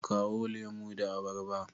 Kawo lemu da abarba.